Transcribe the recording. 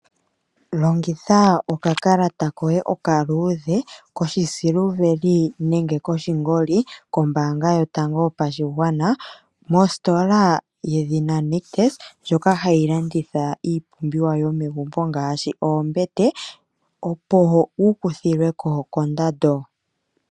Longitha okakalata koye okaluudhe koshisiliveli nenge koshingoli kombaanga yotango yopashigwana kositola yedhina Nictus ndjoka hayi landitha iipumbiwa yomegumbo ngaashi oombete opo wu kuthilwe ko kondando.